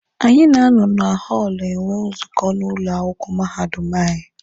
Anyị na-anọ na họọlụ enwe nzukọ n'ụlọ akwụkwọ mahadum anyị.